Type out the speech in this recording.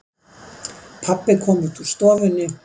Pabbi kom út úr stofunni.